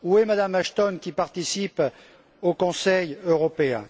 Où est Mme Ashton, qui participe au Conseil européen?